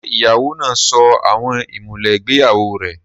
Ṣé ìyàwó náà sọ àwọn ìmùlẹ̀ ìgbéyàwó rẹ̀?